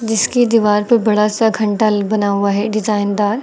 जिसकी दीवार पर बड़ा सा घंटल बना हुआ है डिजाइन दार।